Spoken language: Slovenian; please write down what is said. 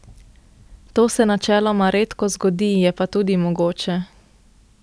To se načeloma redko zgodi, je pa tudi mogoče.